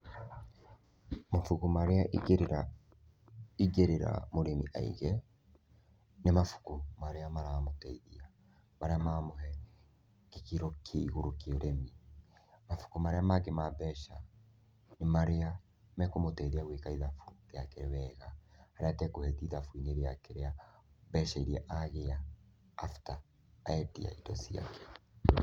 Mabuku marĩa ingĩ ĩrĩra, ingĩ ĩrĩra mũrimi aige, nĩ mabuku marĩa maramũteithia, marĩa maramũhe gĩkĩro kĩa igũrũ kĩa ũrĩmi. Mabuku marĩa mangĩ ma mbeca nĩ marĩa, mekũmũteithia gwĩka ithabu rĩake wega harĩa atekũhĩtia ithabu rĩake rĩa mbeca irĩa agĩa after endia indo ciake.